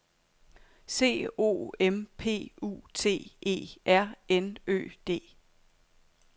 C O M P U T E R N Ø D